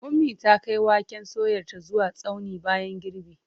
Ummi ta kai waken soyarta zuwa tsaunin bayan girbi.